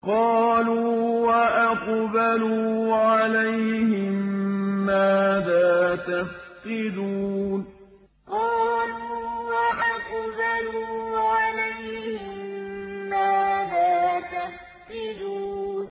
قَالُوا وَأَقْبَلُوا عَلَيْهِم مَّاذَا تَفْقِدُونَ قَالُوا وَأَقْبَلُوا عَلَيْهِم مَّاذَا تَفْقِدُونَ